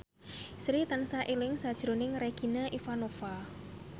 Sri tansah eling sakjroning Regina Ivanova